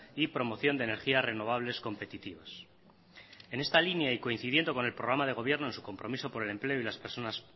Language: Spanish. y promoción de energías renovables competitivas en esta línea y coincidiendo con el programa de gobierno en su compromiso por el empleo